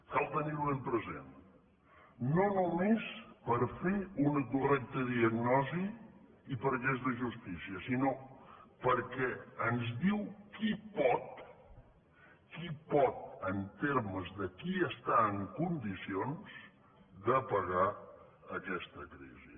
cal tenir ho ben present no només per fer una correcta diagnosi i perquè és de justícia sinó perquè ens diu qui pot qui pot en termes de qui està en condicions de pagar aquesta crisi